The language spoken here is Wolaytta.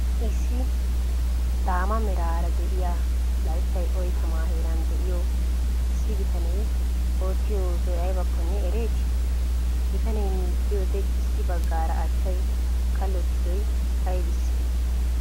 issi daamaa merara de'iya layttay oyttama heeraan de'iyo issi bittanne ootiyo osoy aybakkonne ereeti? bitaanne miicciyodee issi baggara achchay kallotidoy aybisee?